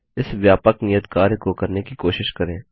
इस व्यापक नियत कार्य को करने की कोशिश करें